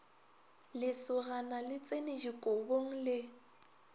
lesogana le tsene dikobong le